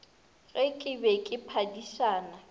ge ke be ke phadišana